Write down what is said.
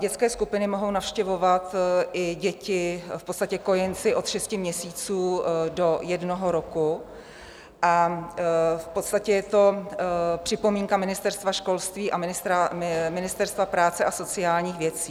Dětské skupiny mohou navštěvovat i děti, v podstatě kojenci od šesti měsíců do jednoho roku, a v podstatě je to připomínka Ministerstva školství a Ministerstva práce a sociálních věcí.